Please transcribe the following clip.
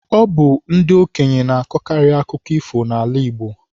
Ọ bụ ndị okenye na-akọkarị akụkọ ifo n'ala Igbo.